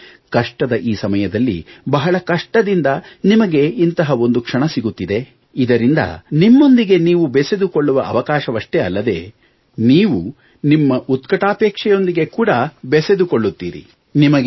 ಅಂದರೆ ಕಷ್ಟದ ಈ ಸಮಯದಲ್ಲಿ ಬಹಳ ಕಷ್ಟದಿಂದ ನಿಮಗೆ ಇಂತಹ ಒಂದು ಕ್ಷಣ ಸಿಗುತ್ತಿದೆ ಇದರಿಂದ ಬರೀ ನಿಮ್ಮೊಂದಿಗೆ ನೀವು ಬೆಸೆದುಕೊಳ್ಳುವ ಅವಕಾಶ ನೀವು ನಿಮ್ಮ ಉತ್ಕಟಾಪೇಕ್ಷೆಯೊಂದಿಗೆ ಕೂಡ ಬೆಸೆದುಕೊಳ್ಳುತ್ತೀರಿ